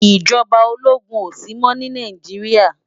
Ijòbá ólógún ó si mò ni Náijiriá